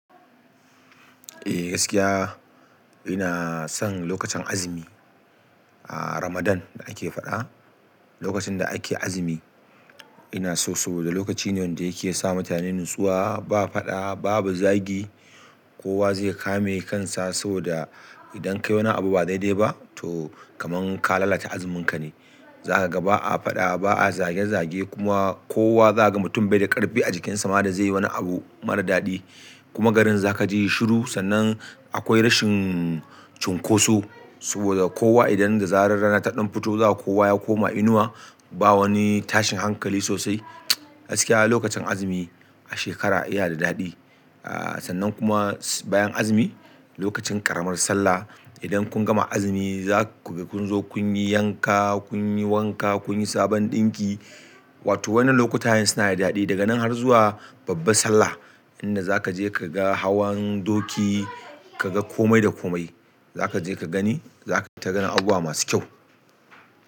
Eh gaskiya ina son lokacin azumi, Ramadan, da ake faɗa, lokacin da ake azumi, ina so saboda lokaci ne wanda yake sa mutane natsuwa, ba faɗa, babu zagi. Kowa zai kame kansa saboda idan ka yi wani abu ba dai -dai ba to kaman ka lalata azuminka ne. Zaka ga ba'a faɗa ba'a zage-zage kuma kowa zakaga mutum bai da ƙarfi a jikinsa ma da zaiyi wani abu mara daɗi kuma garin za ka ji shi shiru, sannan akwai rashin cunkoso saboda kowa idan da zarar rana ta ɗan fito zaka ga kowa ya koma inuwa. Ba wani tashin hankali sosai. Gaskiya lokacin azumi a shekara iya da daɗi. Aa sannan kuma bayan azumi lokacin ƙaramar sallah idan kun gama azumi za ku ga kun zo kun yi yanka, kun yi wankaa, kun yi sabon ɗinki wato wannan lokutayen suna da daɗi. Daga nan har zuwa babbar sallah inda za ka je kaga hawan doki, ka ga komai da komai. Zaka je ka gani, zaka ta ganin abubuwa masu kyau.